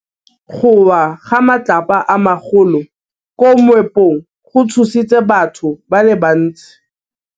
Go wa ga matlapa a magolo ko moepong go tshositse batho ba le bantsi.